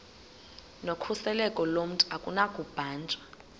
nokhuseleko lomntu akunakubanjwa